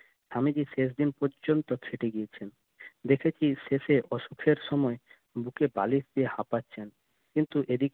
স্বামীজি শেষ দিন পর্যন্ত ছেঁটে গিয়েছেন দেখেছি শেষে অসুখের সময় বুকে বালিশ দিয়ে হাপাচ্ছেন কিন্তু এদিকে